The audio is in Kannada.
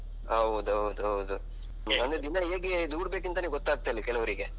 ಹೌದೌದು ಹೌದು. ಅಂದ್ರೆ ದಿನ ಹೇಗೆ ದೂಡಬೇಕಂತನೆ ಗೊತ್ತಾಗ್ತಿಲ್ಲ ಕೆಲವ್ರಿಗೆ.